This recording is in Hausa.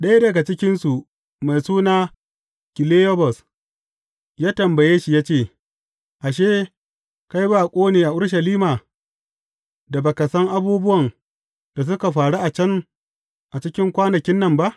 Ɗaya daga cikinsu, mai suna Kiliyobas, ya tambaye shi ya ce, Ashe, kai baƙo ne a Urushalima, da ba ka san abubuwan da suka faru a can, a cikin kwanakin nan ba?